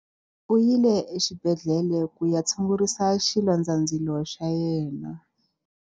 U yile exibedhlele ku ya tshungurisa xilondzandzilo xa yena.